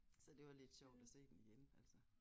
Så det var lidt sjovt at se den igen altså